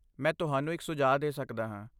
ਮੈਂ ਤੁਹਾਨੂੰ ਇੱਕ ਸੁਝਾਅ ਦੇ ਸਕਦਾ ਹਾਂ।